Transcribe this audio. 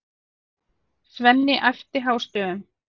Svenni æpti hástöfum.